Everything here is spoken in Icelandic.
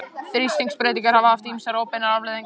Þrýstingsbreytingar hafa haft ýmsar óbeinar afleiðingar.